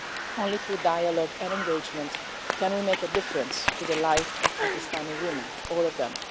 Only through dialogue and engagement can we make a difference to the life of Pakistani women, all of them.